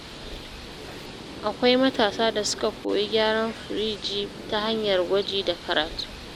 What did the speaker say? Akwai matasa da suka koyi gyaran firji ta hanyar gwaji da karatu.